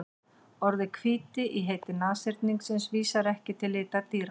Orðið hvíti í heiti nashyrningsins vísar ekki til litar dýranna.